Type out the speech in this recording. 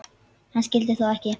Hann skyldi þó ekki.